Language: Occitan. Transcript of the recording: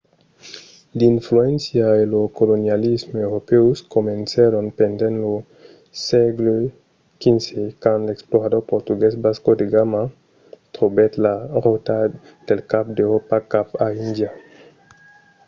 l'influéncia e lo colonialisme europèus comencèron pendent lo sègle xv quand l'explorador portugués vasco da gama trobèt la rota del cap d'euròpa cap a índia